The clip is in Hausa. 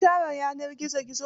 Kun share yanar gizo gizon?